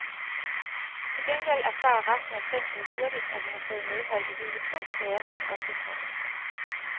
Til gengæld erfarer resten af fængslet hurtigt, at han har fået medhold i hele to sager hos ombudsmanden.